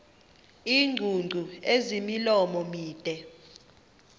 iingcungcu ezimilomo mide